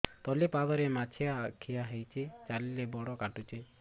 ତଳିପାଦରେ ମାଛିଆ ଖିଆ ହେଇଚି ଚାଲିଲେ ବଡ଼ କାଟୁଚି